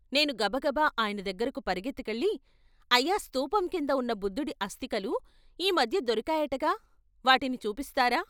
నేను గబగబా ఆయన దగ్గరకు పరుగెత్తు కెళ్ళి "అయ్యా స్థూపం కింద ఉన్న బుద్ధుడి అస్థికలు ఈ మధ్య దొరికాయటగా వాటిని చూపిస్తారా?